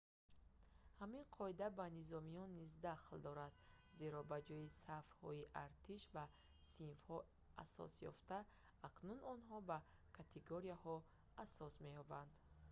ҳамин қоида ба ба низомиён низ дахл дорад зеро ба ҷои сафҳои артиш ба синфҳо асос ёфтан акнун онҳо ба категорияҳо тасниф асос меёбанд